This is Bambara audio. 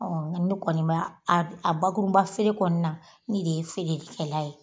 nka ne kɔni b'a a bakurunba feere kɔni na ne de ye feerekɛla ye